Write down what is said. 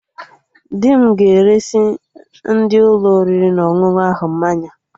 Dị m ga-eresị ndị Ụlọ oriri na ọṅụṅụ ahụ mmanya